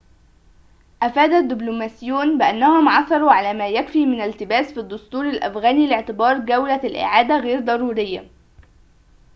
أفاد دبلوماسيون بأنهم عثروا على ما يكفي من التباس في الدستور الأفغاني لاعتبار جولة الإعادة غير ضرورية